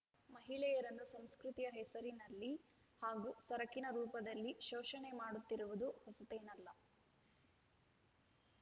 ಮಹಿಳೆಯರನ್ನು ಸಂಸ್ಕ್ರತಿಯ ಹೆಸರಿನಲ್ಲಿ ಹಾಗೂ ಸರಕಿನ ರೂಪದಲ್ಲಿ ಶೋಷಣೆ ಮಾಡುತ್ತಿರುವುದು ಹೊಸತೇನಲ್ಲ